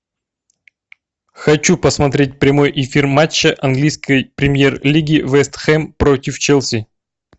хочу посмотреть прямой эфир матча английской премьер лиги вест хэм против челси